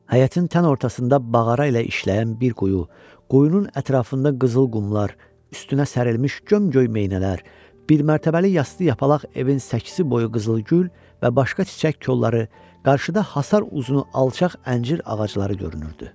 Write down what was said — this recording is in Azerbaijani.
Həyətin tən ortasında mağara ilə işləyən bir quyu, quyunun ətrafında qızıl qumlar, üstünə sərilmiş gömgöy meynələr, bir mərtəbəli yastı yapalaq evin səkkisi boyu qızılgül və başqa çiçək kolları, qarşıda həsar uzunu alçaq əncir ağacları görünürdü.